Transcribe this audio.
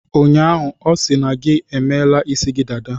Ụnyaahụ, ọ sị na gi emela isi dada.